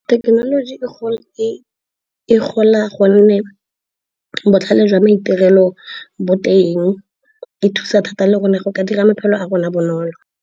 Thekenoloji e gola gonne botlhale jwa maitirelo bo teng, e thusa thata le gone go ka dira maphelo a rona bonolo.